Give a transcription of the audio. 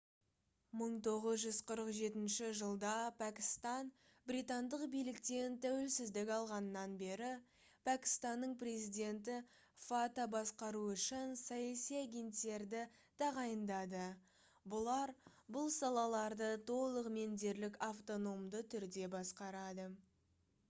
1947 жылда пәкістан британдық биліктен тәуелсіздік алғаннан бері пәкістанның президенті fata басқару үшін «саяси агенттерді» тағайындады. бұлар бұл салаларды толығымен дерлік автономды түрде басқарады